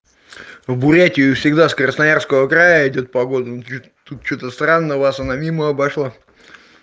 в бурятию всегда с красноярского края идёт погода тут что то странно у вас она мимо обошла